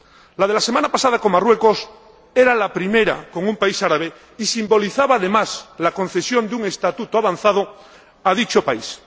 La de la semana pasada, con Marruecos, era la primera con un país árabe y simbolizaba, además, la concesión de un estatuto avanzado a dicho país.